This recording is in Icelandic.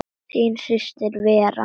Þín systir Vera.